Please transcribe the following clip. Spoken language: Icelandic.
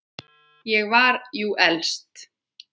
Ég var jú elst.